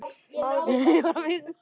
Lof sé þér, Guð.